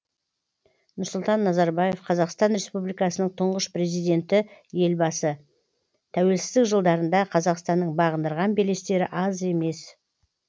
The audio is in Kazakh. нұрсұлтан назарбаев қазақстан республикасының тұңғыш президенті елбасы тәуелсіздік жылдарында қазақстанның бағындырған белестері аз емес